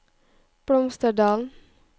Blomsterdalen